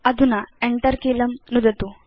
अधुना Enter कीलं नुदतु